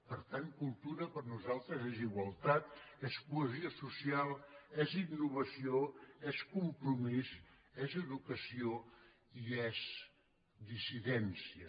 per tant cultura per a nosaltres és igualtat és cohesió social és innovació és compromís és educació i és dissidència